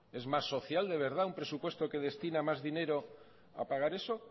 es más social de verdad un presupuesto que destina más dinero a pagar eso